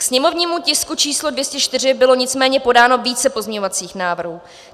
Ke sněmovnímu tisku číslo 204 bylo nicméně podáno více pozměňovacích návrhů.